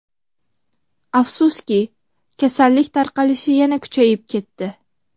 Afsuski, kasallik tarqalishi yana kuchayib ketdi.